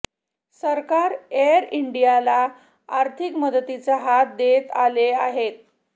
सरकार एअर इंडियाला आर्थिक मदतीचा हात देत आलेले आहे